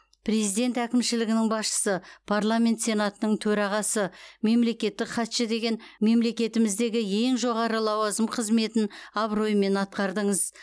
президент әкімшілігінің басшысы парламент сенатының төрағасы мемлекеттік хатшы деген мемлекетіміздегі ең жоғары лауазым қызметін абыроймен атқардыңыз